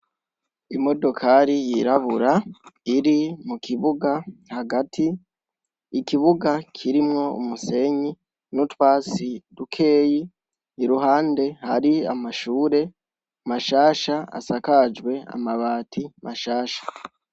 Imodokari yiraburabura iri mukibuga Hagati .ikibuga kirimwo umusenyi nutwatsi dukeyi iruhande hari mashure mashasha asakajwe amabati mashasha.